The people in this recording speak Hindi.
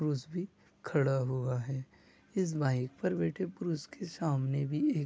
पुरुष भी खड़ा हुआ है इस बाइक पर बैठे पुरुष के सामने भी एक --